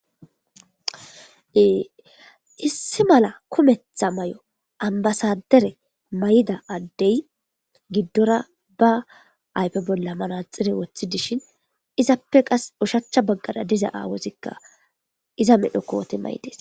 issi mala kumetha mayo ambasadere mayida addey giddora ba aype bolla manaxire wothi dishin izappe qas ushachcha baggada diza aawozikka iza medho kooti mayides